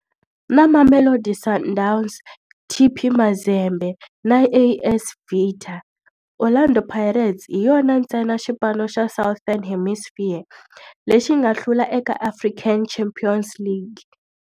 Na Mamelodi Sundowns, TP Mazembe na AS Vita, Orlando Pirates hi yona ntsena xipano xa Southern Hemisphere lexi nga hlula eka African Champions League.